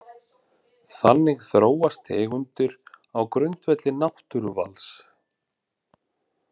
Þannig þróast tegundir á grundvelli náttúruvals.